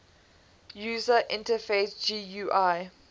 user interface gui